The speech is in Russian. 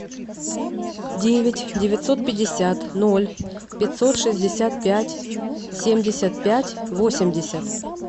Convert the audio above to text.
девять девятьсот пятьдесят ноль пятьсот шестьдесят пять семьдесят пять восемьдесят